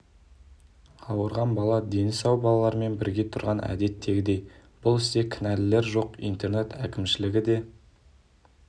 ауырған бала дені сау балалармен бірге тұрған әдеттегідей бұл істе кінәлілер жоқ интернат әкімшілігі де